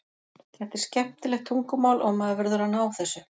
Þetta er skemmtilegt tungumál og maður verður að ná þessu.